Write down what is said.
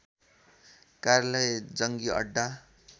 कार्यालय जंगी अड्डा